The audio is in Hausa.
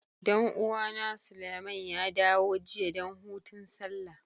Dan uwa na, Suleiman ya dawo jiya dan hutun Sallah.